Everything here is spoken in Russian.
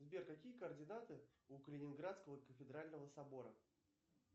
сбер какие координаты у калининградского кафедрального собора